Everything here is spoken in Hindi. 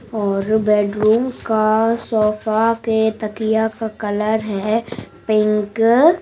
और बेडरूम का सोफा पे तकिया का कलर है पिंक --